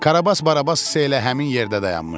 Karabas-Barabas isə elə həmin yerdə dayanmışdı.